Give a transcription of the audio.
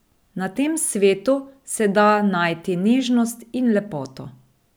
Na tem svetu se da najti nežnost in lepoto.